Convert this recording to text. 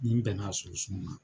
Ni bɛnna sunsun ma,